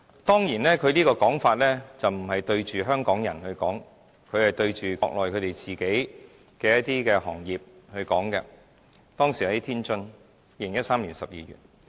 當然，他講話的對象不是香港人，而是國內的一些行業，當時是2013年12月，他身處天津。